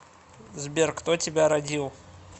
сбер кто тебя родил